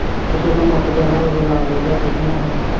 ਤੇ ਜਦੋਂ ਮੁੱਕ ਜਾਂਦਾ ਉਦੋਂ ਲਾ ਲਈਦਾ ਛੇਤੀ ਨਾਲ ਫਿਰ।